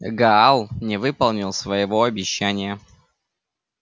гаал не выполнил своего обещания